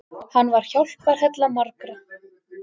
Hann var hjálparhella margra.